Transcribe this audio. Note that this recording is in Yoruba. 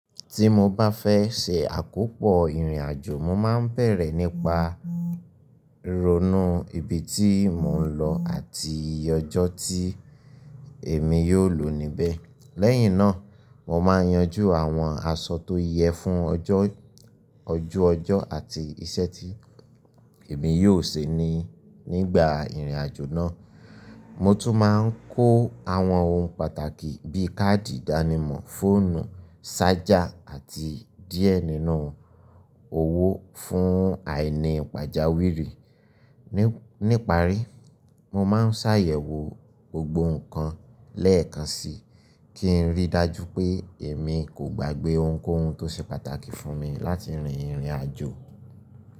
Tí mo bá fẹ́ ṣe àkópọ̀ ìrìn àjò, mo máa ń bẹ̀rẹ̀ nípa ronú ibi tí mò ń lọ àti iye ọjọ́ tí èmi yóò lò níbẹ̀. Lẹ́yìn náà, mo máa ń yanjú àwọn aṣọ tó yẹ fún ojú ọjọ́ àti iṣẹ́ tí èmi yóò ṣe ní nígbà ìrìn àjò náà. Mo tún máa ń kó àwọn ohun pàtàkì bíi káàdì ìdánimọ̀, fóònù, sájà àti díẹ̀ nínú owó fún àìní pàjáwìrì. Nípá rí, mo máa ń ṣàyẹ̀wò gbogbo nǹkan lẹ́ẹ̀kan síí kí n ríi dájú pé èmi kò gbàgbé ohunkóhun tó ṣe pàtàkì fún mi láti rin ìrìn àjò.